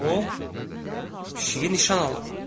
O pişikə nişan alıb.